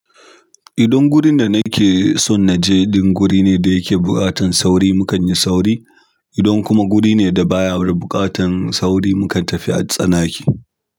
Idan gurin da nake so na je, din guri ne da yake buƙatan sauri, mukan yi sauri. Idan kuma guri ne da baya da buƙatan sauri, mukan tafi a tsanake.